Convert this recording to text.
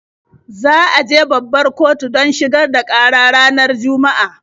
Za ta je babbar kotu don shigar da ƙara ranar Juma'a.